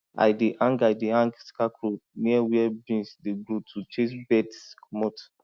i dey hang i dey hang scarecrow near where beans dey grow to chase birds comot